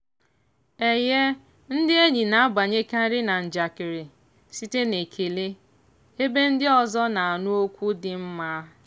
ndị enyi na-abanyekarị na njakịrị site n'ekele ebe ndị ọzọ na-anụ okwu dị mma.